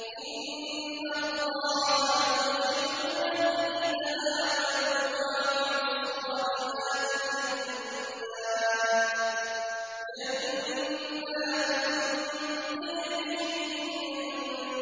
إِنَّ اللَّهَ يُدْخِلُ الَّذِينَ آمَنُوا وَعَمِلُوا الصَّالِحَاتِ جَنَّاتٍ تَجْرِي